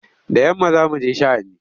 Da yamma za mu je sha'ani.